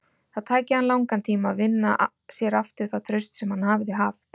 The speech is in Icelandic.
Það tæki hann langan tíma að vinna sér aftur það traust sem hann hafði haft.